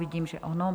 Vidím, že ano.